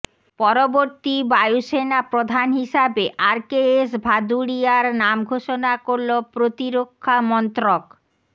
পরবর্তী বায়ুসেনা প্রধান হিসাবে আর কে এস ভাদুড়িয়ার নাম ঘোষণা করল প্রতিরক্ষা মন্ত্রক